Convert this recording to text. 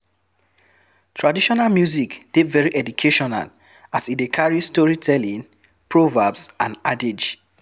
Traditional music de very educational as e de carry storytelling, proverbs and adage